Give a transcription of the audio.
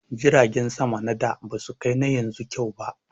Jiragen sama na da ba su kai na yanzu kyau ba